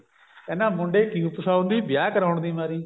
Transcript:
ਕਹਿੰਦਾ ਮੁੰਡੇ ਕਿਉਂ ਫਸਾਉਂਦੀ ਵਿਆਹ ਕਰਾਉਣ ਦੀ ਮਾਰੀ